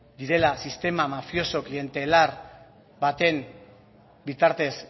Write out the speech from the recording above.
direla sistema mafioso klientelar baten bitartez